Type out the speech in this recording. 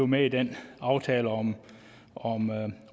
med i den aftale om